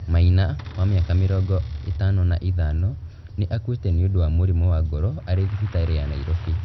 Maina, wa mĩaka mĩrongo ĩtano na ithano, nĩ akuĩte nĩ ũndũ wa mũrimũ wa ngoro arĩ thibitarĩ ya Nairobi